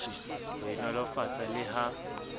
ho e nolofatsa le ha